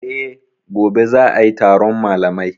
E, gobe za a yi taron malamai.